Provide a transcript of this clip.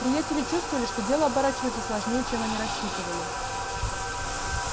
приятели чувствовали что дело оборачивается сложнее чем они рассчитывали